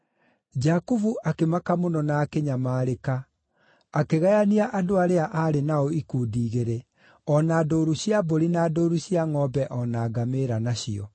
Jakubu akĩmaka mũno na akĩnyamarĩka, akĩgayania andũ arĩa aarĩ nao ikundi igĩrĩ, o na ndũũru cia mbũri na ndũũru cia ngʼombe o na ngamĩĩra nacio.